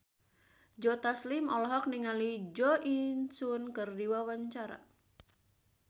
Joe Taslim olohok ningali Jo In Sung keur diwawancara